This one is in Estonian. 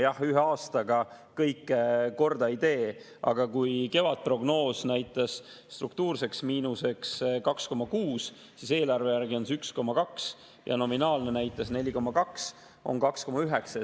Jah, ühe aastaga kõike korda ei tee, aga kevadprognoos näitas struktuurseks miinuseks 2,6, eelarve järgi on see 1,2, ja nominaalseks näitas 4,2, see on 2,9.